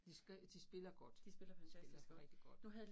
De spiller godt. De spiller rigtig godt